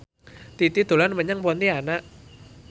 Titi dolan menyang Pontianak